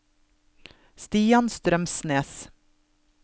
Stian Strømsnes